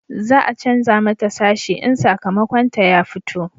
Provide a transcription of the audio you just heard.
za a canja mata sashi in sakamakon ta ya fito